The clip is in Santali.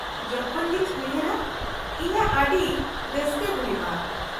ᱡᱚᱠᱷᱚᱱ ᱜᱤᱧ ᱩᱭᱦᱟᱹᱨᱟ, ᱤᱧᱟᱹᱜ ᱟᱹᱰᱤ ᱨᱟᱹᱥᱠᱟᱹ ᱦᱩᱭᱩᱜᱼᱟ ᱾